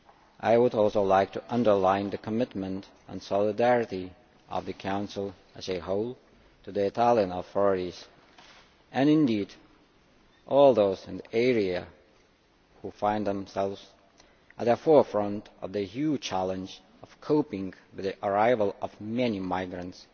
I would also like to underline the commitment and solidarity of the Council as a whole to the Italian authorities, and indeed to all those in the area who find themselves at the forefront of the huge challenge of coping with the arrival of many migrants,